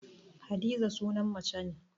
Hadiza sunan mace ne